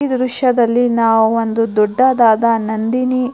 ಈ ದೃಶ್ಯದಲ್ಲಿ ನಾವು ಒಂದು ದೊಡ್ಡದಾದ ನಂದಿನಿ --